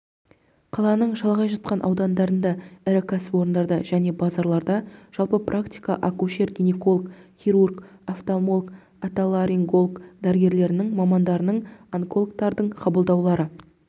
қаланың шалғай жатқан аудандарында ірі кәсіпорындарында және базарларда жалпы практика акушер-гинеколог хирург офтальмолог отоларинголог дәрігерлерінің мамандарының онкологтардың қабылдаулары